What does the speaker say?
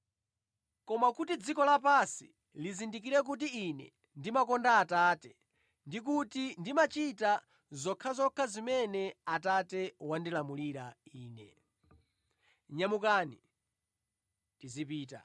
koma kuti dziko lapansi lizindikire kuti Ine ndimakonda Atate ndi kuti ndimachita zokhazokha zimene Atate wandilamulira Ine. “Nyamukani; tizipita.”